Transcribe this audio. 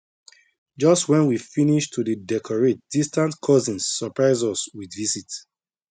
just when we finish to dey decorate distant cousins surprise us with visit